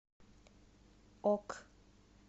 ок